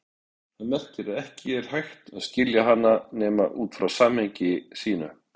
Það merkir að ekki er hægt að skilja hana nema út frá samhengi sínu.